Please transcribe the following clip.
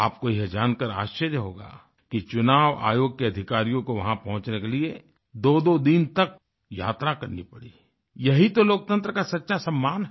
आपको यह जानकार आश्चर्य होगा कि चुनाव आयोग के अधिकारियों को वहाँ पहुँचने के लिए दोदो दिन तक यात्रा करनी पड़ी यही तो लोकतंत्र का सच्चा सम्मान है